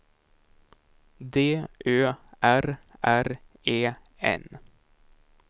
D Ö R R E N